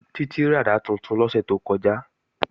Títí ràdá tuntun lọ́sẹ̀ tó kọjá